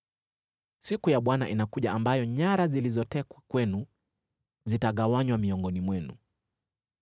Siku ya Bwana inakuja ambayo nyara zilizotekwa kwenu zitagawanywa miongoni mwenu.